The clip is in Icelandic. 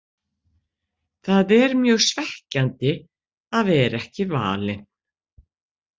Það er mjög svekkjandi að vera ekki valinn.